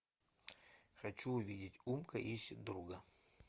хочу увидеть умка ищет друга